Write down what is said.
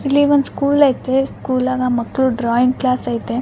ಇಲ್ಲಿ ಒಂದ್ ಸ್ಕೂಲ್ ಐತ್ರಿ ಸ್ಕೂಲ್ ಆಗ ಮಕ್ಕಳು ಡ್ರಾಯಿಂಗ್ ಕ್ಲಾಸ್ ಐತೆ.